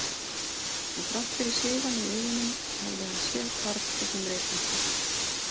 En þrátt fyrir sviðann í augunum hafði hann séð Karl gegnum reykmökkinn